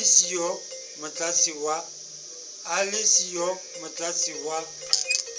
a le siyo motlatsi wa